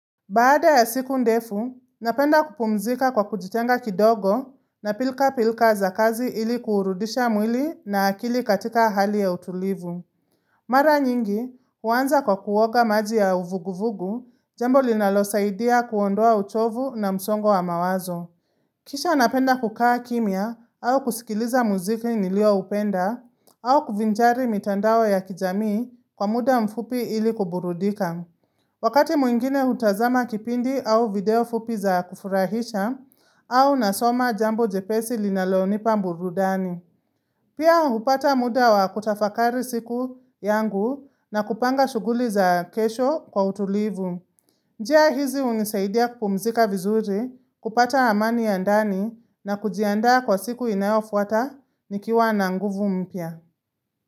Baada ya siku ndefu, napenda kupumzika kwa kujitenga kidogo na pilka pilka za kazi ili kuurudisha mwili na akili katika hali ya utulivu. Mara nyingi, huanza kwa kuoga maji ya uvuguvugu, jambo linalosaidia kuondoa uchovu na msongo wa mawazo. Kisha napenda kukaa kimya au kusikiliza muziki nilioupenda au kuvinjari mitandao ya kijamii kwa muda mfupi ili kuburudika. Wakati mwingine hutazama kipindi au video fupi za kufurahisha au nasoma jambo jepesi linalonipa burudani. Pia hupata muda wa kutafakari siku yangu na kupanga shuguli za kesho kwa utulivu. Njia hizi hunisaidia kupumzika vizuri, kupata amani ya ndani na kujianda kwa siku inayofuata nikiwa na nguvu mpya.